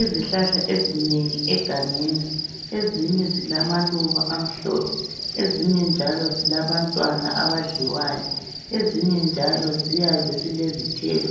Izihlahla ezinengi egangeni ezinye zilamaluba amhlophe ezinye njalo zilabantwana abadliwayo, ezinye njalo ziyabe zilezithelo